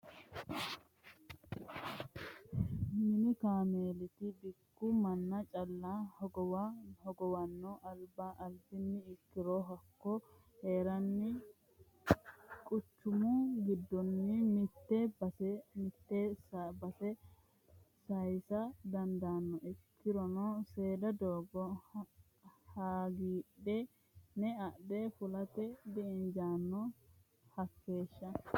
Mini kaameellati bikku manna calla hogowano albiha ikkirono hakko heereni quchumu giddoni mite baseni mite base saysa dandaano ikkirono seeda doogo hagiidhine adhe fulate di'injano hakeeshsha.